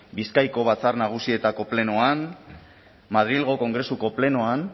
bizkaiko batzar nagusietako plenoan madrilgo kongresuko plenoan